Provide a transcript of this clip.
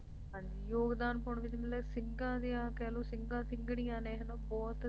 ਹਾਂ ਜੀ ਯੋਗਦਾਨ ਪਾਉਣ ਵਿਚ ਮਤਲਬ ਸਿੰਘ ਦੀਆਂ ਕਹਿ ਲੋ ਸਿੰਘਾਂ ਸਿੰਘਣੀਆਂ ਨੇ ਹੈ ਨਾ ਬਹੁਤ